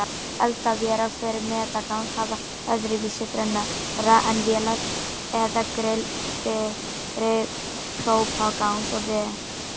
Eldavélar fyrir metangas hafa öðruvísi brennara en vélar eða grill fyrir própangas og vetni.